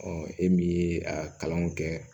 e min ye a kalanw kɛ